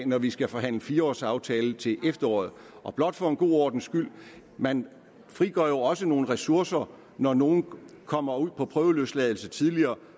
når vi skal forhandle fire års aftalen til efteråret blot for en god ordens skyld man frigør jo også nogle ressourcer når nogle kommer ud på prøveløsladelse tidligere